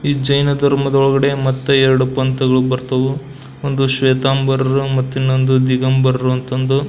ಈ ಜೈನ ಧರ್ಮದ ಒಳಗಡೆ ಮತ್ತ ಎರಡು ಪಂಥಗಳು ಬರ್ತಾವು. ಒಂದು ಶ್ವೇತಾಂಬರರು ಮತ್ತು ಇನ್ನೊಂದು ದಿಗಂಬರರು ಅಂತಂದು.